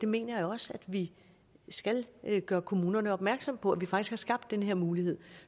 mener også vi skal gøre kommunerne opmærksom på at vi faktisk har skabt den her mulighed